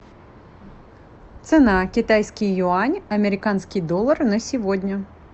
цена китайский юань американский доллар на сегодня